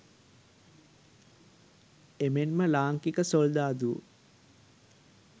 එමෙන්ම ලාංකික සොල්දාදුවෝ